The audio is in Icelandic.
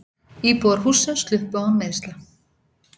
Íbúar hússins sluppu án meiðsla.